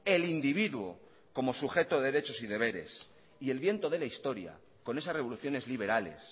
el individuo como sujeto de derechos y deberes y el viento de la historia con esas revoluciones liberales